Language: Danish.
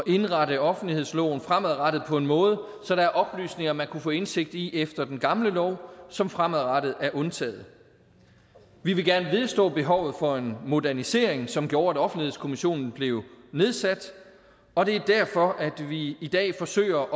indrette offentlighedsloven fremadrettet på en måde så der er oplysninger man kunne få indsigt i efter den gamle lov som fremadrettet er undtaget vi vil gerne vedstå os behovet for en modernisering som gjorde at offentlighedskommissionen blev nedsat og det er derfor vi i dag forsøger